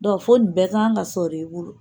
fo ni bɛɛ ka kan ka sɔrɔ i bolo